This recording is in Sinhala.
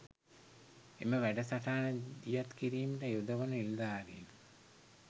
එම වැඩසටහන දියත් කිරීමට යොදවන නිලධාරීන්